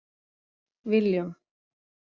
Willum